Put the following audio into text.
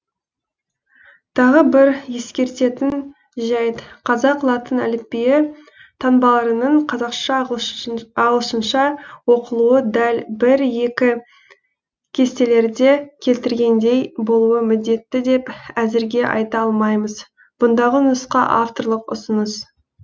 тағы бір ескеретін жәйт қазақ латын әліпбиі таңбаларының қазақша ағылшынша оқылуы дәл бір екі кестелерде келтірілгендей болуы міндетті деп әзірге айта алмаймыз бұндағы нұсқа авторлық ұсыныс